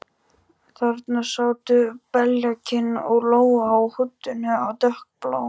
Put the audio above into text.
Þarna sátu þau, beljakinn og Lóa, á húddinu á dökkbláum